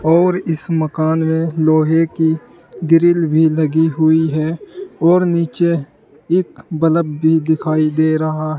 और इस मकान में लोहे की ग्रिल भी लगी हुई है और नीचे एक बल्ब भी दिखाई दे रहा है।